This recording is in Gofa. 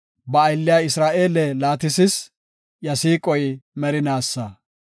Ba aylliya Isra7eele laatisis; iya siiqoy merinaasa.